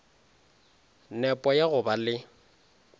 nepo ya go ba le